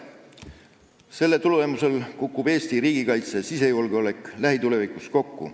Selle kõige tulemusel kukuvad Eesti riigikaitse ja sisejulgeolek lähitulevikus kokku.